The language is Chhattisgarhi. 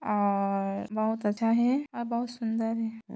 और बहुत अच्छा है और बहुत सुंदर है।